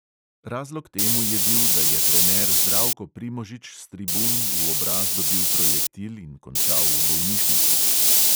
Razlog temu je bil, da je trener zdravko primožič s tribun v obraz dobil projektil in končal v bolnišnici.